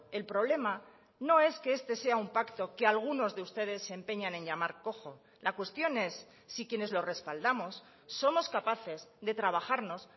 el problema no es que este sea un pacto que algunos de ustedes se empeñan en llamar cojo la cuestión es si quienes lo respaldamos somos capaces de trabajarnos